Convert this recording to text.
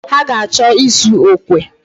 Ha ga-achọ ịzụ okwe.